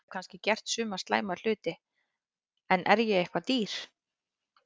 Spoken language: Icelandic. Ég hef kannski gert suma slæma hluti en er ég eitthvað dýr?